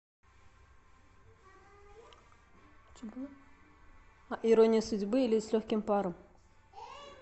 ирония судьбы или с легким паром